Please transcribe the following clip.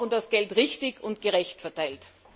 Wir brauchen das Geld richtig und gerecht verteilt!